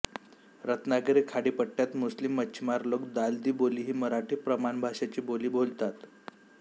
रत्नागिरी खाडीपट्यात मुस्लिम मच्छिमार लोक दालदी बोली ही मराठी प्रमाणभाषेची बोली बोलतात